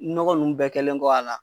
Nɔgɔ nunnu bɛɛ kɛlen kɔ a la